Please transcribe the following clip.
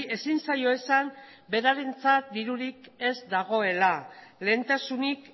ezin zaio esan berarentzat dirurik ez dagoela lehentasunik